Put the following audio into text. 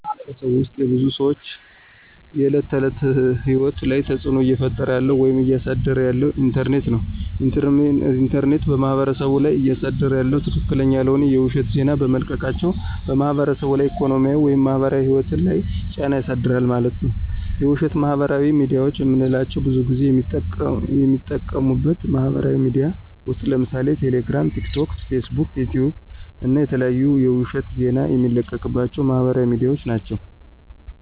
በማህበረሰቡ ውስጥ የብዙ ሰዎች የዕለት ተዕለት ህይወት ላይ ተፅዕኖ እየፈጠረ ያለው ወይም እያሳደረ ያለው ኢንተርኔት ነው። ኢንተርኔት በማህበረሰቡ ላይ እያሳደረ ያለው ትክክለኛ ያልሆነ የውሸት ዜና በመልቀቃቸው በማህበረሰቡ ላይ ኢኮኖሚያዊ ወይም ማህበራዊ ህይወት ላይ ጫና ያሳድራል ማለት ነዉ። የውሸት ማህበራዊ ሚድያዎች የምንላቸው ብዙን ጊዜ የሚጠቀሙበት ማህበራዊ ሚድያዎች ውስጥ ለምሳሌ ቴሌግራም፣ ቲክቶክ፣ ፌስቡክ፣ ዩቲዩብ እና የተለያዩ የውሸት ዜና የሚለቀቅባቸው ማህበራዊ ሚድያዎች ናቸው።